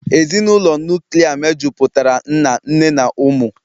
Ezinụlọ nuklia mejupụtara nna, nne na ụmụ